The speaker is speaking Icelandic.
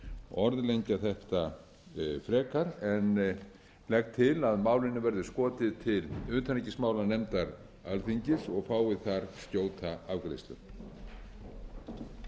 orðlengja þetta frekar en legg til að málinu verði skotið til utanríkismálanefndar alþingis og fái þar skjóta afgreiðslu átta